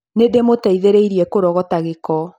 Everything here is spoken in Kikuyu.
Nĩ ndĩmũteithirie kũrogota gĩko.